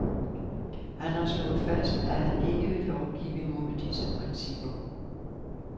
Han har slået fast, at han ikke vil lovgive imod disse principper.